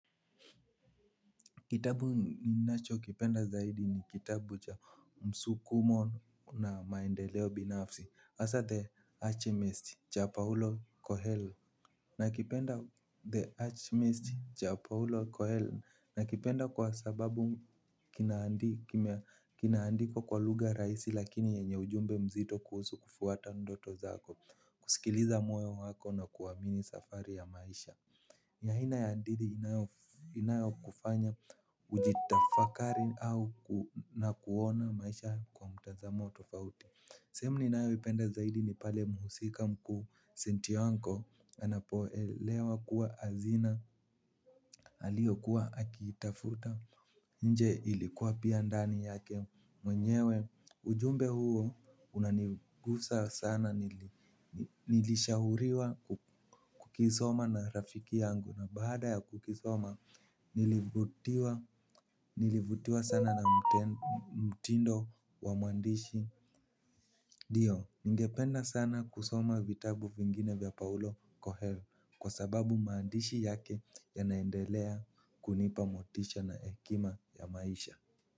Kitabu ninachokipenda zaidi ni kitabu cha msukumo na maendeleo binafsi hasa The Archmest cha Paulo Kohell. Nakipenda The Archmest cha Paulo Kohell nakipenda kwa sababu kinaandiko kwa lugha rahisi lakini yenye ujumbe mzito kuhusu kufuata ndoto zako. Kusikiliza moyo wako na kuamini safari ya maisha. Ni aina ya adili inayokufanya ujitafakari au na kuona maisha kwa mtazamo tofauti. Sehemu ninayoipenda zaidi ni pale muhusika mkuu sinti wanko, anapoelewa kuwa hazina aliyokuwa akiitafuta nje ilikuwa pia ndani yake mwenyewe. Ujumbe huo unanigusa sana nilishahuriwa kukisoma na rafiki yangu. Na baada ya kukisoma, nilivutiwa sana na mtindo wa muandishi ndio ningependa sana kusoma vitabu vingine vya paulo kuhel. Kwa sababu maandishi yake yanaendelea kunipa motisha na hekima ya maisha.